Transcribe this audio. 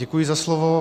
Děkuji za slovo.